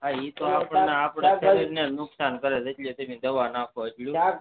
હા એતો આપણે જ આપણાં શરીર ને નુકસાન કરે ગમેતે દવા નાખો એટલું